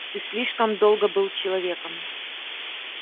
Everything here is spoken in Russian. ты слишком долго был человеком